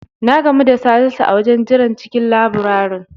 Na gamu da Salisu a wajen jiran cikin labirari.